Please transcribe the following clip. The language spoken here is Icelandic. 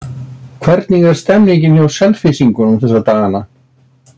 Hvernig er stemmningin hjá Selfyssingum þessa dagana?